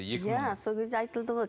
иә сол кезде айтылды ғой